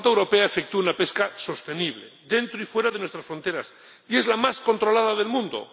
la flota europea efectúa una pesca sostenible dentro y fuera de nuestras fronteras y es la más controlada del mundo.